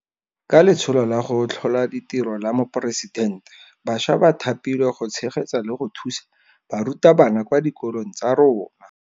Ka Letsholo la go Tlhola Ditiro la Moporesidente, bašwa ba thapilwe go tshegetsa le go thusa barutabana kwa dikolong tsa rona.